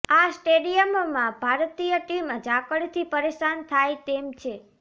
આ સ્ટેડિયમમાં ભારતીય ટીમ ઝાકળથી પરેશાન થાય તેમ છે